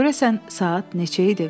Görəsən saat neçə idi?